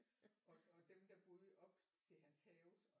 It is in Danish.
Og dem der boede op til hans have